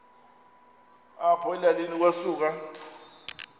apho elalini kwasuka